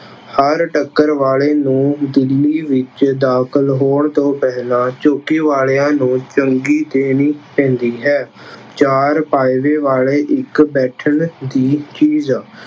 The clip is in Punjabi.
ਹਰ ਟੱਕਰ ਵਾਲੇ ਨੂੰ ਜ਼ਮੀਨ ਵਿੱਚ ਦਾਖਲ ਹੋਣ ਤੋਂ ਪਹਿਲਾਂ ਚੌਂਕੇ ਵਾਲਿਆਂ ਨੂੰ ਚੁੰਗੀ ਦੇਣੀ ਪੈਂਦੀ ਹੈ। ਚਾਰ ਫਾਇਦੇ ਵਾਲੇ ਇੱਕ ਬੈਠਣ ਦੀ ਚੀਜ਼